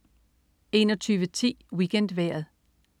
21.10 WeekendVejret